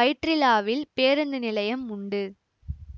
வைற்றிலாவில் பேருந்து நிலையம் உண்டு